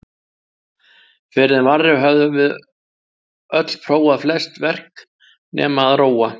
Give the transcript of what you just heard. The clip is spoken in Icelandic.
Fyrr en varði höfðum við öll prófað flest verk- nema að róa.